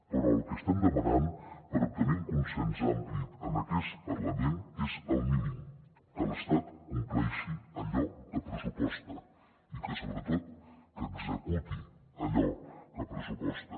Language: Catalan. però el que estem demanant per obtenir un consens ampli en aquest parlament és el mínim que l’estat compleixi allò que pressuposta i que sobretot executi allò que pressuposta